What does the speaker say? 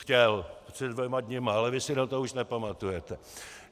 - Chtěl, před dvěma dny, ale vy si na to už nepamatujete.